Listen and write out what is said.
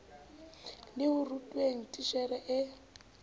le ho rutweng titjhere e